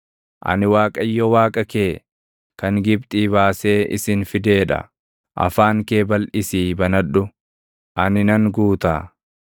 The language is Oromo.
Ani Waaqayyo Waaqa kee, kan Gibxii baasee isin fidee dha. Afaan kee balʼisii banadhu; ani nan guutaa.